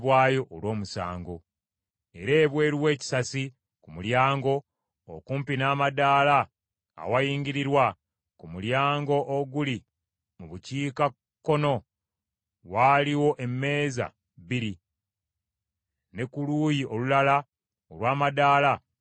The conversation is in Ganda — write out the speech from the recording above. Era ebweru w’ekisasi ku mulyango, okumpi n’amadaala awayingirirwa ku mulyango oguli mu bukiikakkono waaliwo emmeeza bbiri ne ku luuyi olulala olw’amadaala waliwo emmeza bbiri.